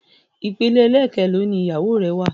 Ìpele ẹlẹkelò ni ìyàwó rẹ wà?